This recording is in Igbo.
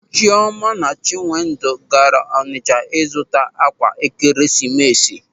Chịọma na Chinwendụ gaara Ọnịcha ịzụta ákwà Ekeresimesi.